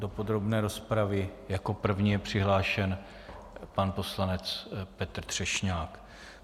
Do podrobné rozpravy jako první je přihlášen pan poslanec Petr Třešňák.